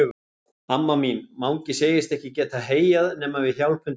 Amma mín, Mangi segist ekki geta heyjað nema við hjálpum til.